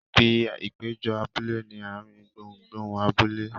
Ibi ìpéjọ abúlé ni ààrin gbùngbùn abúlé.